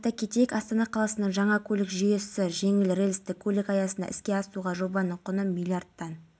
қаласы ішкі істер департаментінің тергеу басқармасының аса маңызды істер жөніндегі аға тергеушісі шутьконы дәрежелі айбын